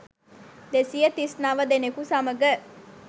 දෙසිය තිස් නව දෙනෙකු සමඟ